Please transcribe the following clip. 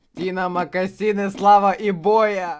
ти на мокасины слава и боя